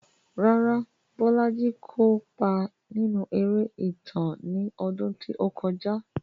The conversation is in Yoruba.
Rárá, Bolaji kò kópa nínú eré ìtàn ní ọdún tí ó kọjá.